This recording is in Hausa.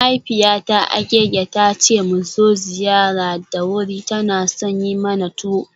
Mahaifiyata Agege ta ce mu zo ziyara da wuri, tana son yi mana tuwo.